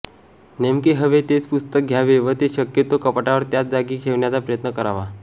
नेमके हवे तेच पुस्तक घ्यावे व ते शक्यतो कपाटावर त्याच जागी ठेवण्याचा प्रयत्न करावा